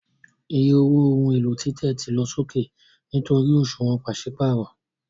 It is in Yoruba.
Iye owó ohun èlò títẹ̀ ti lọ sókè nítorí òṣùwọ̀n pàṣípààrọ̀